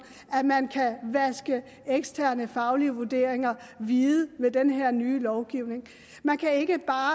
at man kan vaske eksterne faglige vurderinger hvide med den her nye lovgivning man kan ikke bare